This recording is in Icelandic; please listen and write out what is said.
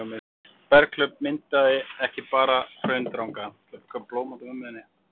berghlaup myndaði ekki bara hraundranga